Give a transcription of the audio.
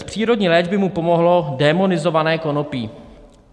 "Z přírodní léčby mu pomohlo démonizované konopí.